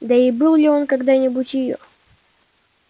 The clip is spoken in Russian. да и был ли он когда-нибудь её